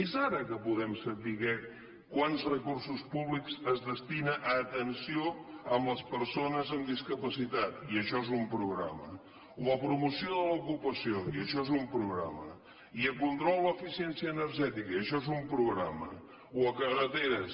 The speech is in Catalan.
és ara que podem saber quants recursos públics es destinen a atenció a les persones amb discapacitat i això és un programa o a promoció de l’ocupació i això és un programa i a control d’eficiència energètica i això és un programa o a carreteres